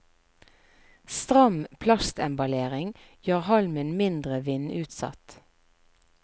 Stram plastemballering gjør halmen mindre vindutsatt.